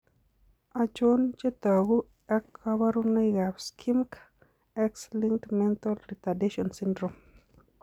Achon chetogu ak kaborunoik ab Schimke X linked mental retardation syndrome ?